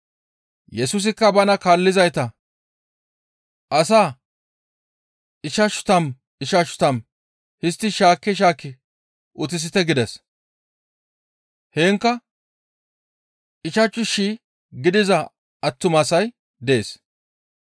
Yesusikka bana kaallizayta, «Asaa ichchashu tammu, ichchashu tammu histti shaakki shaakki utisite» gides. Heenkka ichchashu shii gidiza attumasay dees.